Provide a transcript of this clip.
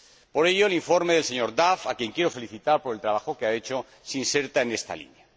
Por ello, el informe del señor Duff, a quien quiero felicitar por el trabajo que ha hecho, se inserta en esta línea.